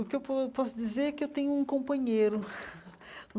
O que po posso dizer é que tenho um companheiro.